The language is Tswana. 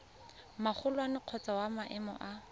magolwane kgotsa wa maemo a